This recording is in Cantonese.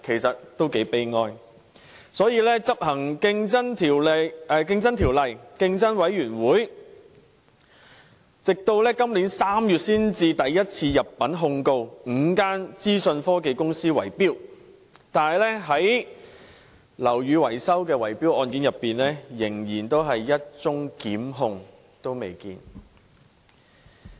所以，執行《條例》的競爭事務委員會直至今年3月才首次入稟控告5間資訊科技公司圍標；但在樓宇維修的圍標案件中，仍然未見一宗提出檢控的個案。